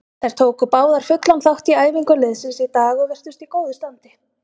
Þær tóku báðar fullan þátt í æfingu liðsins í dag og virtust í góðu standi.